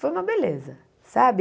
Foi uma beleza, sabe?